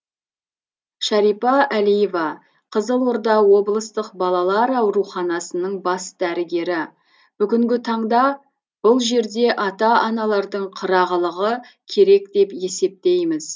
шарипа әлиева қызылорда облыстық балалар ауруханасының бас дәрігері бүгінгі таңда бұл жерде ата аналардың қырағылығы керек деп есептейміз